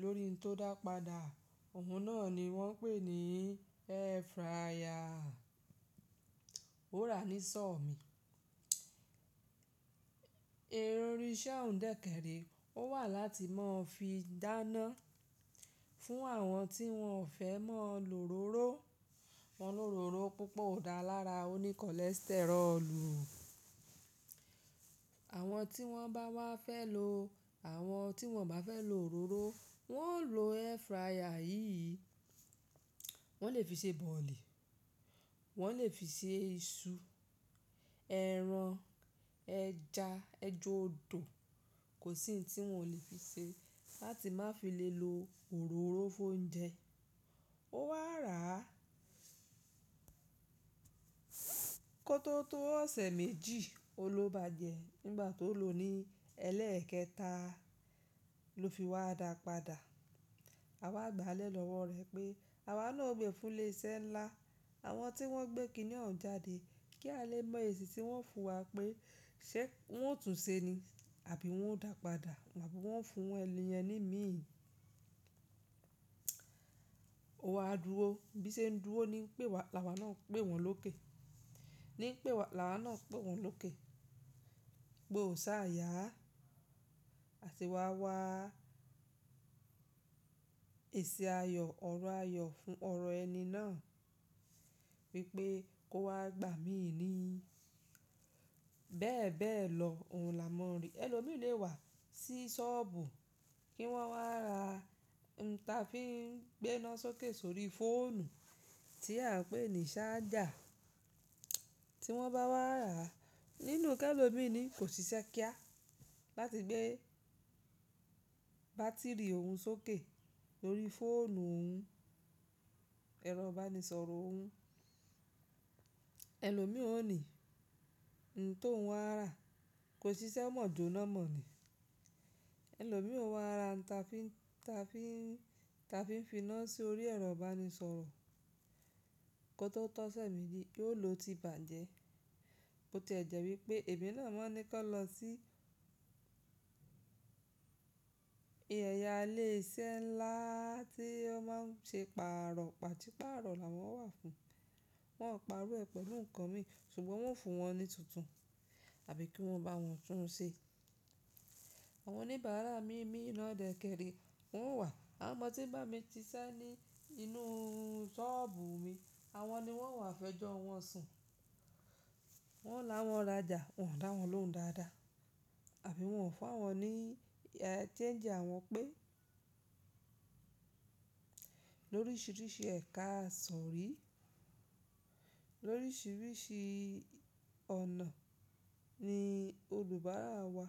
lórí n tó dàpadà, òun náà ni wọ́n ń pè ní air fryer. Ó ra ní sọ́ọ̀ mí. Ẹ̀rọ orí Ṣéùn dẹ̀kẹ̀rí ó wà láti máa fi dáná fún àwọn tí wọ́n ò fẹ́ máa lo òróró. Wọn lòróró púpọ̀ ò dáa lára oní cholesterolù. Àwọn tí wọ́n bá wá fẹ́ lo, àwọn tí wọ́n bá fẹ́ lo òróró, wọ́n ó lo air fryer yìí. Wọ́n lè fi ṣe bọ̀ọ̀lì, wọ́n lè fi ṣe iṣu, ẹran, ẹja, ẹja odò, kò sí ohun tí wọn ò lè fi ṣe láti má fi lè lo òróró fún oúnjẹ. Ó wà rá kótó tó ọ̀sẹ̀ méjì, ó lọ bá jẹ nígbà tó lo ní ẹlẹ́ẹ̀kẹta ló fi wá dàpadà. A wá gbàlẹ̀ lọ́wọ́ rẹ̀ pé, àwa náà ò gbé fún ilé iṣẹ́ ńlá, àwọn tí wọ́n gbé kiní oun jáde kí a lè mọ èsì tí wọ́n fún wa pé ṣé wọ́n ó tún ṣe ni àbí wọ́n ó dàpadà abi wọ́n o fún ẹni yẹn ní míì. Ó wá dúró, bíṣẹ́ ń dúró ní pé wa, làwá náà ń pè wọ́n lókè. Ní pé wa, làwá náà ń pè wọ́n lókè pé òò ṣáà yá àti wá wá èsì ayọ̀ ọ̀rọ̀ ayọ̀ fún ọ̀rọ̀ ẹni náà wípé kó wá gbà míì nì. Bẹ́ẹ̀ bẹ́ẹ̀ lọ, òun là mọ rí. Ẹ̀lòmíràn lè wà sí sọ́ọ̀bù kí wọ́n wá ra, n ta fi ń gbe'ná sókè sórí fóònù tí à ń pè ní ṣájà. Tí wọ́n bá wá rà nínú kẹ́lọ̀míràn ni kò ṣiṣẹ́ kíá láti gbé bátìrì òun sókè lórí fóònù òun, ẹ̀rọ ìbánisọ̀rọ̀ òun. Ẹ̀lòmíràn ò ní ǹ tó wọn rà kò ṣiṣẹ́ mọ́ jóná mọ̀ ni. Ẹ̀lòmíràn ó wá ra ǹ ta fi ń, ta fi ń, ta fi ń fi iná sórí ẹ̀rọ ìbánisọ̀rọ̀ kótó tọ́sẹ̀ méjì, yóò lo ti bàjẹ́. Bo ti jẹ̀ wípé èmi náà mọ ní kan lọ sí Ẹ̀yà ìlè iṣẹ́ ńlá tí ó máa ń ṣe pàrọ̀, pàṣípààrọ̀ làwọn wà fún. Wọn ò parọ rẹ̀ pẹ̀lú nǹkan mi ṣùgbọ́n wọ́n fún wọn ní tuntun àbí kí wọ́n bá wọn tún un ṣe. Àwọn oníbàárà mi mí ìná dẹ̀kẹ̀re, wọ́n o wà. Àwọn ọmọ tí ń bá mi ṣiṣẹ́ ní inú sọ́ọ̀bù mi, àwọn ni wọ́n o wà fẹ́jọ́ wọn sùn. Wọ́n làwọn rajà, wọn ò dáwọn lóhùn dáadáa àbí wọn ò fún àwọn ní ẹ́ change àwọn pé lóríṣiríṣi ẹ̀ka àsọrí, lóríṣiríṣi ọ̀nà ni olùbárà wa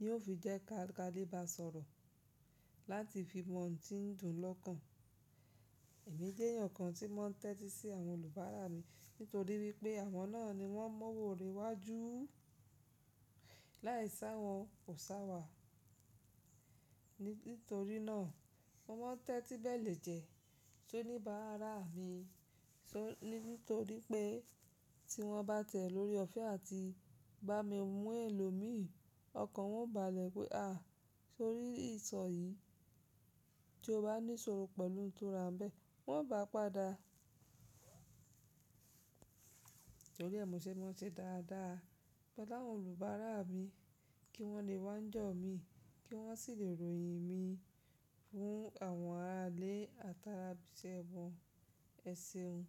ni ó fi jẹ́ ká, ká lè bá sọ̀rọ̀ láti fi mọ ohun tí ń dùn lọ́kàn. Èmi jẹ́ èèyàn kan tí mọ̀ ń tẹ́tí sí àwọn olùbárà mi nítorí wípé àwọn náà ni wọ́n m'owò re iwájú láì si àwọn kòsí àwa. Nítorí náà mo mọ n tẹ́tí bẹ́lèjẹ́ sóníbàárà mi sórí, nítorí pé tí wọ́n bá tẹ̀ lórí ọ̀fẹ́ àti bá mi mú ẹlòmíì, ọkàn wọn ó bàlẹ̀ pé à, sórí ìṣọ̀ yìí tí o bá ní ṣòro pẹ̀lú n tò ràmbẹ̀ wọ́n ó gbá padà. Nítorí ẹ́ mọ̀ ṣé wọn ṣe dáadáa. Pẹlu àwọn olùbárà mi kí wọ́n lè wá n jọ̀ mí kí wọ́n sì lè ròyìn mi fún àwọn ará ilé àti ara ibi iṣẹ́ wọn, ẹ ṣeun.